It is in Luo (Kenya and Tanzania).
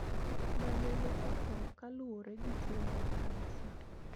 Ma nene otho kaluwore gi tuo mar kansa